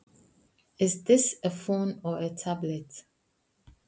Er þetta sími eða spjaldtölva?